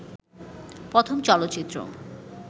প্রথম চলচ্চিত্র